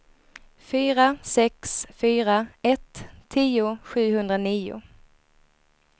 fyra sex fyra ett tio sjuhundranio